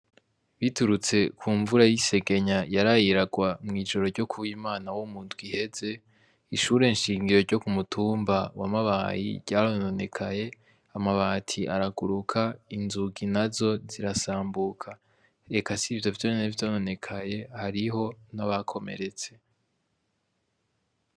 Biturutse kumvura yisegenya yaraye irarwa mwijoro ryo Ku wimana wo mu ndwi iheze ishure shingiro ryo Ku mutumba wa mabayi ryarononekaye amabati araguruka inzugi nazo zirasambuka eka sivyo vyonyene vyononekaye hariho n'abakomeretse.